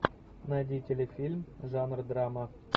найди телефильм жанр драма